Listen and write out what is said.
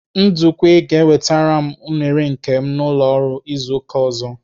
Ndukwe ga-ewetara m unere nke m n'ụlọ ọrụ izu ụka ọzọ.